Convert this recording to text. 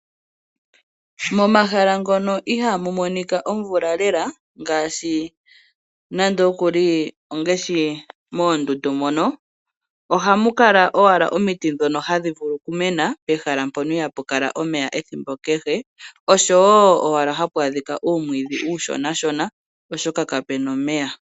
Momahala mono ihaamu monika omvula lela ngaashi moondundu mono hamu kala owala omiti ndhono hadhi vulu okumena